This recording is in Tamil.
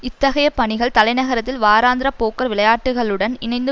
இத்தகைய பணிகள் தலைநகரத்தில் வாராந்தர போக்கர் விளையாட்டுக்களுடன் இணைந்து